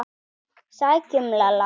BOGGA: Sækjum Lalla!